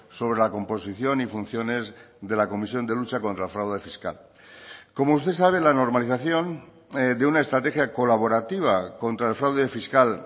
sobre la composición y funciones de la comisión de lucha contra el fraude fiscal como usted sabe la normalización de una estrategia colaborativa contra el fraude fiscal